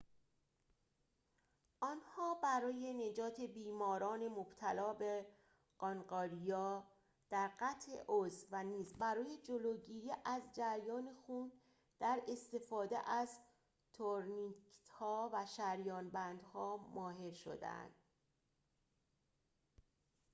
آنها برای نجات بیماران مبتلا به قانقاریا در قطع عضو و نیز برای جلوگیری از جریان خون در استفاده از تورنیکت‌ها و شریان‌بندها ماهر شدند